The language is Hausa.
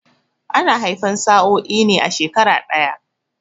Ana haifan sa'oi ne a shekara ɗaya